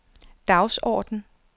dagsorden